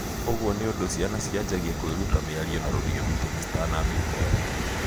Ũguo nĩũndũ ciana cianjangia kwĩruta miario na rũthiomi tene citanambia kwaria.